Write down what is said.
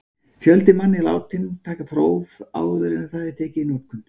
Fjöldi manna er látinn taka próf, áður en það er tekið í notkun.